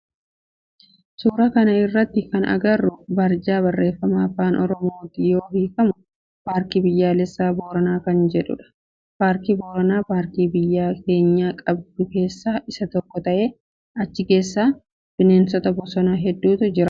Suuraa kana irratti kana agarru barjaa barreefama afaan oromootti yoo hiikamu paarkii biyyaalessaa Booranaa kan jedhudha. Paarkii Booranaa paarkii biyya teenya qabdu keessaa isa tokko ta'e achi keessa bineensota bosonaa heddutu jira.